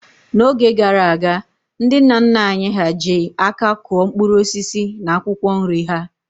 N'oge gara aga, ndị nna nna anyị ha ji aka kụọ mkpụrụ osisi na akwụkwọ nri ha.